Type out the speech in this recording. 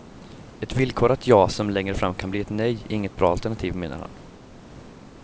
Ett villkorat ja som längre fram kan bli ett nej är inget bra alternativ, menar han.